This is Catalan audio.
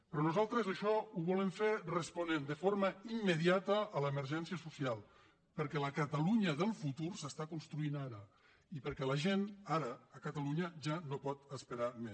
però nosaltres això ho volem fer responent de forma immediata a l’emergència social perquè la catalunya del futur s’està construint ara i perquè la gent ara a catalunya ja no pot esperar més